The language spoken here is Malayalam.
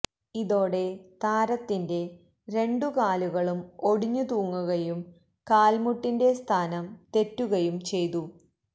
ഇതോടെ താരത്തിന്റെ രണ്ടു കാലുകളും ഒടിഞ്ഞു തൂങ്ങുകയും കാല്മുട്ടിന്റെ സ്ഥാനം തെറ്റുകയും ചെയ്തു